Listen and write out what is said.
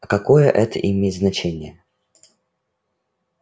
а какое это имеет значение